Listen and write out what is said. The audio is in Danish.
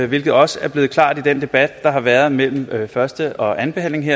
hvilket også er blevet klart i den debat der har været mellem første og andenbehandlingen